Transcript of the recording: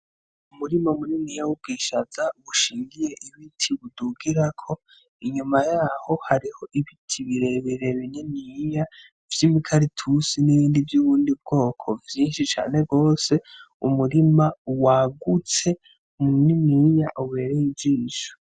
Umurima munini w' ubwishaza bushingiye ibiti budugirako inyuma yaho hari ibiti birebire bininiya vyibi karatusi nibindi vy' ubundi bwoko vyinshi cane gose, umurima wagutse muniniya ubereye ijisho.